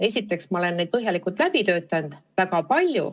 Esiteks, ma olen neid väga palju ja põhjalikult läbi töötanud.